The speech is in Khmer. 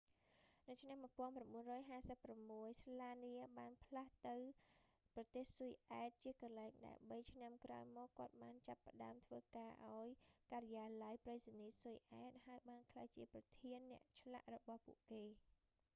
នៅឆ្នាំ 1956 ស្លានៀ slania បានផ្លាស់ទៅប្រទេសស៊ុយអែត ជាកន្លែងដែលបីឆ្នាំក្រោយមក គាត់បានចាប់ផ្តើមធ្វើការឱ្យការិយាល័យប្រៃសណីយ៍ស៊ុយអែត ហើយបានក្លាយជាប្រធានអ្នកឆ្លាក់របស់ពួកគេ